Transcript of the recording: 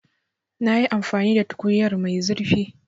Na yi amfani da tukunyar gashi mai zurfi.